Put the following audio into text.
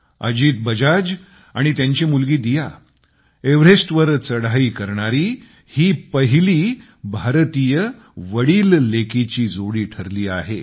अजित बजाज आणि त्यांची मुलगी दिया एव्हरेस्टवर चढाई करणारी पहिली भारतीय वडीललेकीची जोडी ठरली आहे